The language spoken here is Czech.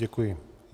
Děkuji.